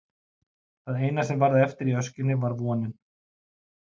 Það eina sem varð eftir í öskjunni var vonin.